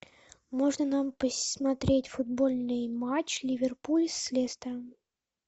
можно нам посмотреть футбольный матч ливерпуль с лестером